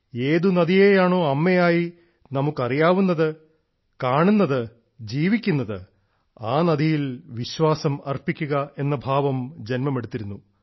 ഏത് നദിയെയാണോ അമ്മയായി നമുക്ക് അറിയാവുന്നത് കാണുന്നത് ജീവിക്കുന്നത് ആ നദിയിൽ വിശ്വാസം അർപ്പിക്കുക എന്ന ഭാവം ജന്മമെടുത്തിരുന്നു